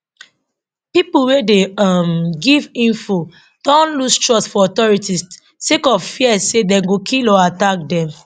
pipo wey dey um give info don lose trust for authorities sake of fear say dem go kill or attack dem